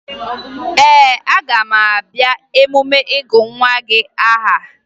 Ee, aga m abịa emume ịgụ nwa gị aha